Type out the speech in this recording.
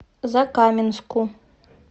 закаменску